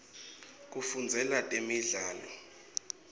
kufundzela temidlalo